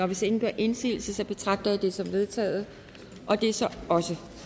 hvis ingen gør indsigelse betragter jeg det som vedtaget det er så også